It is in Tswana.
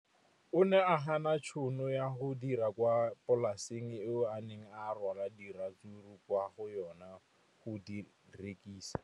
O ne a gana tšhono ya go dira kwa polaseng eo a neng rwala diratsuru kwa go yona go di rekisa.